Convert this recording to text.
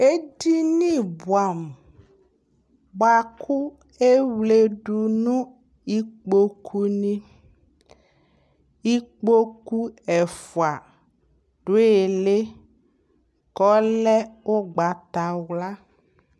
Edini bʋɛamʋ bʋa kʋ ewledu nʋ ikpokunɩ Ikpoku ɛfʋa dʋ ɩɩlɩ kʋ ɔlɛ ʋgbatawla